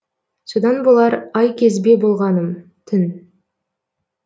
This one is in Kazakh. содан болар айкезбе болғаным түн